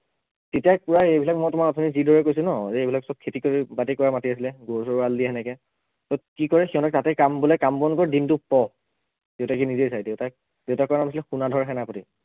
তেতিয়াই কোৱা এইবিলাক মই তোমাক অথনি যিদৰে কৈছো ন যে এইবিলাক সৱ খেতি কৰি বাতি কৰা মাটি আছিলে গৰু চৰু এৰাল দিয়ে সেনেকে তাত কি কৰে সিহঁতে তাতেই কাম মানে কাম বন কৰে দিনটো পঢ় দেউতাকে নিজেই চাই দেউতাক দেউতাকৰ নাম আছিলে পোনাধৰ সেনাপতি